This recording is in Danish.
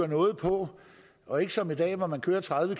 noget på og ikke som i dag hvor man kører tredive